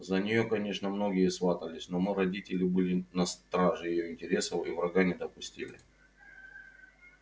за нее конечно многие сватались но мы родители были на страже её интересов и врага не допустили